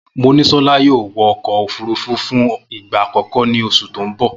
Monísolá yóò wọ ọkọ̀ òfúrufú fún ìgbà àkọ́kọ́ ní oṣù tó ń bọ̀